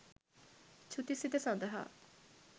චුති සිත සඳහා